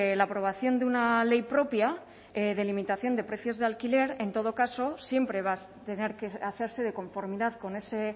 la aprobación de una ley propia de limitación de precios de alquiler en todo caso siempre va a tener que hacerse de conformidad con ese